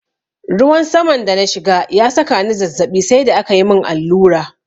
Ruwan saman da na shiga ya saka ni zazzaɓi sai da akayi mun allura.